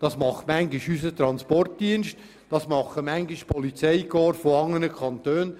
Manchmal ist es unser Transportdienst, manchmal sind es die Polizeikorps anderer Kantone.